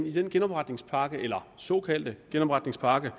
i den genopretningspakke eller såkaldte genopretningspakke